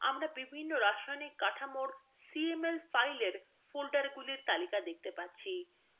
আমরা বিভিন্ন রাসায়নিক কাঠামোর cml ফাইলগুলির ফোল্ডারগুলির তালিকা দেখতে পাচ্ছি